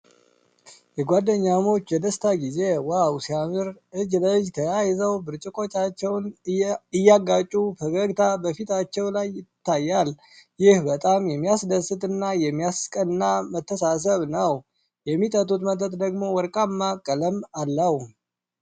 የጓደኛሞች የደስታ ጊዜ! ዋው፣ ሲያምር! እጅ ለእጅ ተያይዘው ብርጭቆዎቻቸውን እያጋጩ ፈገግታ በፊታቸው ላይ ይታያል። ይህ በጣም የሚያስደስት እና የሚያስቀና መተሳሰብ ነው። የሚጠጡት መጠጥ ደግሞ ወርቃማ ቀለም አለው።